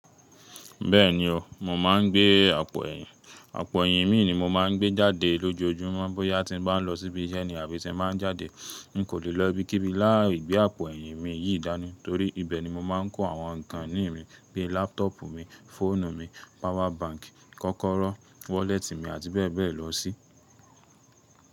Bẹ́ẹ̀ni o, mo máa ń gbé àpò ẹ̀yìn. Àpò ẹ̀yìn mi ni mo máa ń gbé jáde lójoojúmọ́ bóyá tí m bá ń lọ síbi iṣẹ́ ni àbí tí m má ń jáde. N kò lè lọ ibikíbi láì gbé àpò ẹ̀yìn mi yìí dáni torí ibẹ̀ ni mo máa ń kó àwọn nkan ìní mi bí láptọ̀pu mi, fóònù mi, power bank, kọ́kọ́rọ́, wọ́lẹ́tì mi àti bẹ́ẹ̀ bẹ́ẹ̀ lọ sí.